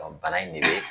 bana in de be